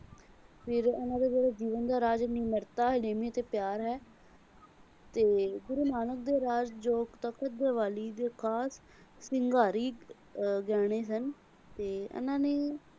ਫਿਰ ਉਹਨਾਂ ਦੇ ਜਦੋਂ ਜੀਵਨ ਦਾ ਰਾਜ ਨਿਮਰਤਾ, ਹੜੀਮੀ ਤੇ ਪਿਆਰ ਹੈ ਤੇ ਗੁਰੂ ਮਾਨਵ ਦੇ ਰਾਜ ਜੋ ਤਖਤ ਦੁਆਲੀ ਦੇ ਖਾਸ ਸ਼ਿੰਗਾਰੀ ਅਹ ਗਹਿਣੇ ਸਨ ਤੇ ਇਹਨਾਂ ਨੇ,